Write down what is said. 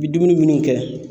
I bɛ dumuni minnu kɛ.